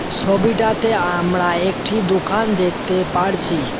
সবিটাতে আমরা একটি দোকান দেখতে পারছি।